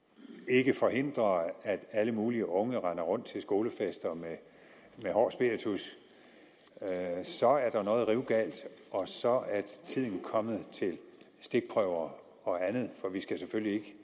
ikke forhindrer at alle mulige unge render rundt til skolefester med hård spiritus så er der noget rivende galt og så er tiden kommet til stikprøver og andet for vi skal selvfølgelig